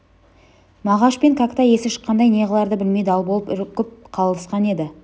мағаш пен кәкітай есі шыққандай не қыларды білмей дал болып үркіп қалысқан еді